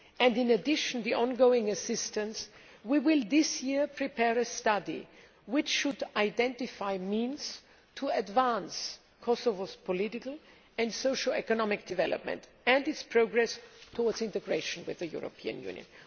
In addition to ongoing assistance, we will this year prepare a study, which should identify means to advance Kosovo's political and socio economic development, and its progress towards integration with the European Union.